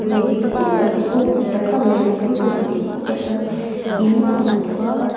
tingkung buk tak tak leh lian pui pui an ding khup a chuan in a awm bawk a--